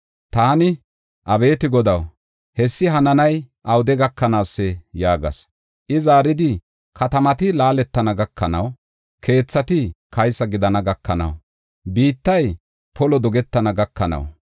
Taani, “Abeeti Godaw, hessi hananay awude gakanaasee?” yaagas. I zaaridi, “Katamati laaletana gakanaw, keethati kaysa gidana gakanaw, biittay polo dogetana gakanaw;